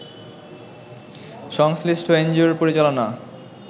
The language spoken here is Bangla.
সংশ্লিষ্ট এনজিও’র পরিচালনা